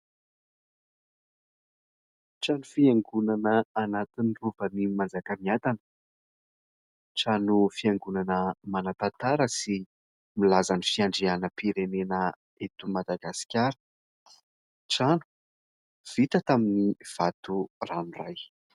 Trano fiangonana anatin'ny Rovan'ny Manjakamiadana. Trano fiangonana manan-tantara sy milaza ny fiandrianam-pirenena eto Madagasikara. Trano vita tamin'ny vato ranoiray.